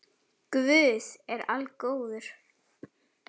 Guð er algóður